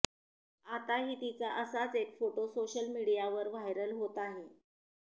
आताही तिचा असाच एक फोटो सोशल मीडियावर व्हायरल होत आहे